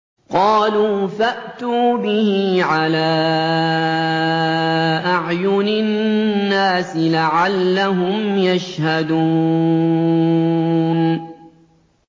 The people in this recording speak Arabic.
قَالُوا فَأْتُوا بِهِ عَلَىٰ أَعْيُنِ النَّاسِ لَعَلَّهُمْ يَشْهَدُونَ